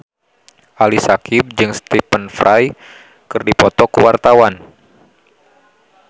Ali Syakieb jeung Stephen Fry keur dipoto ku wartawan